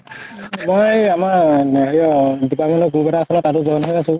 মই আমাৰ department ৰ group এটা আছিলে, তাতো join হৈ আছো